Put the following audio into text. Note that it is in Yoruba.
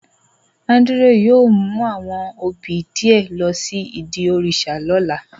Andrew yóò mu awọn obí diẹ lo si idi òrìṣà lọla.